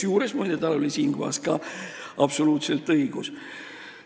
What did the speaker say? Ja muide, tal oli siinkohal ka absoluutselt õigus.